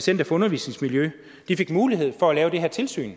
center for undervisningsmiljø fik mulighed for at lave det her tilsyn